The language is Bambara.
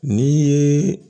Ni ye